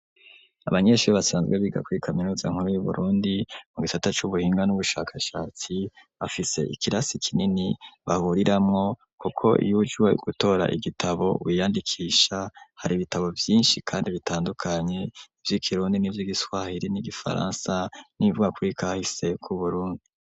Abanyeshuri basanzwe biga kuri kaminuza nkuru y'Uburundi, mu gisata c'ubuhinga n'ubushakashatsi, bafise ikirasi kinini bahuriramwo kuko iyo uje gutora igitabo wiyandikisha, hari ibitabo vyinshi kandi bitandukanye; vy'ikirundi n'ivy'igiswahiri n'igifaransa, n'ibivuga kuri kahise k'Uburundi.